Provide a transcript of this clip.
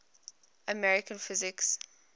american physicists